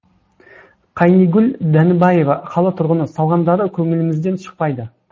қайнигүл дәнібаева қала тұрғыны салғандары көңілімізден шықпайды